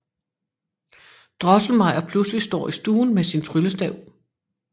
Drosselmeyer pludselig står i stuen med sin tryllestav